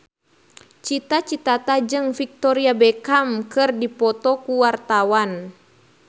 Cita Citata jeung Victoria Beckham keur dipoto ku wartawan